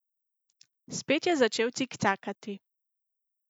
Spet je začel cikcakati.